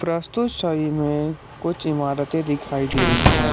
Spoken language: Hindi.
में कुछ इमारतें दिखाई दे रही है।